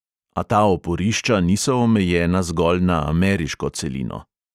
A ta oporišča niso omejena zgolj na ameriško celino.